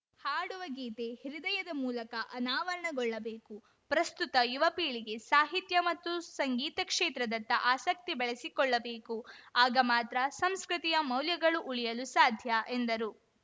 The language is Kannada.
ಹಾಡುವ ಗೀತೆ ಹೃದಯದ ಮೂಲಕ ಅನಾವರಣಗೊಳ್ಳಬೇಕು ಪ್ರಸ್ತುತ ಯುವಪೀಳಿಗೆ ಸಾಹಿತ್ಯ ಮತ್ತು ಸಂಗೀತ ಕ್ಷೇತ್ರದತ್ತ ಆಸಕ್ತಿ ಬೆಳೆಸಿಕೊಳ್ಳಬೇಕು ಆಗ ಮಾತ್ರ ಸಂಸ್ಕೃತಿಯ ಮೌಲ್ಯಗಳು ಉಳಿಯಲು ಸಾಧ್ಯ ಎಂದರು